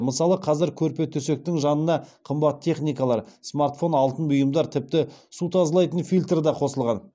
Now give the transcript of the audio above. мысалы қазір көрпе төсектің жанына қымбат техникалар смартфон алтын бұйымдар тіпті су тазалайтын фильтр да қосылған